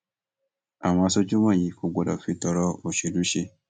àwọn aṣojú wọnyí kò gbọdọ fi tọrọ òṣèlú ṣe